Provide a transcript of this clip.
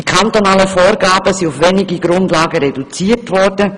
Die kantonalen Vorgaben sind auf wenige Grundlagen reduziert worden: